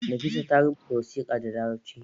Nafisa ta rubuta wasiƙa da larabci